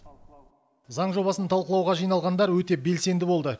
заң жобасын талқылауға жиналғандар өте белсенді болды